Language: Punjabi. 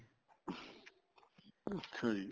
ਅੱਛਾ ਜੀ